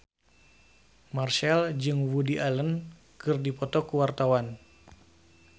Marchell jeung Woody Allen keur dipoto ku wartawan